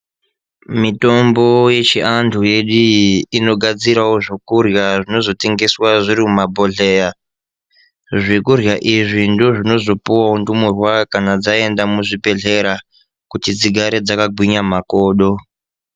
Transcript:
Mitombo yechiantu yedu iyi inogadzirawo zvokurya zvinozotengeswa zviri mumabhodheya, zvokurya izvi ndozvinozopuwawo ndumurwa kana dzaenda muzvibhedhlera kuti dzigare dzakagwinya makodo.